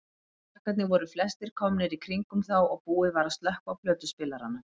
Krakkarnir voru flestir komnir í kringum þá og búið var að slökkva á plötuspilaranum.